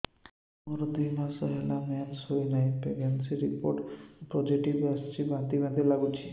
ମୋର ଦୁଇ ମାସ ହେଲା ମେନ୍ସେସ ହୋଇନାହିଁ ପ୍ରେଗନେନସି ରିପୋର୍ଟ ପୋସିଟିଭ ଆସିଛି ବାନ୍ତି ବାନ୍ତି ଲଗୁଛି